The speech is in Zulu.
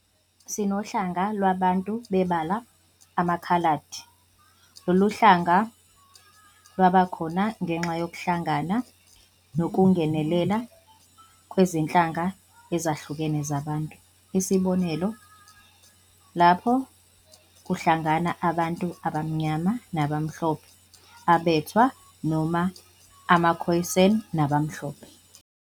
Sinohlanga lwabantu bebala, amakhaladi, lolu hlanga lwabakhona ngenxa yokuhlangana nokungenelana kwezinhlanga ezahlukene zabantu, isibonelo lapho kuhlangana abantu abamnyama nabamhlophe, abathwa noma amakhoyisani nabamhlophe.